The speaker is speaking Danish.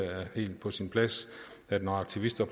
er helt på sin plads at når aktivister